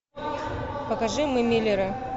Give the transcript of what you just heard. покажи мы миллеры